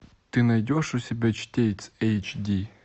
ты найдешь у себя чтец эйч ди